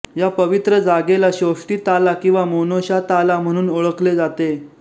या पवित्र जागेला शोष्टी ताला किंवा मोनोशा ताला म्हणून ओळखले जाते